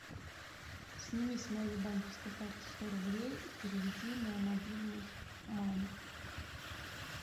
сними с моей банковской карты сто рублей и переведи на мобильный маме